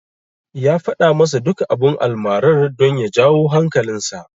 Ya faɗa masa duka abun almarar, don ya jawo hankalinsa.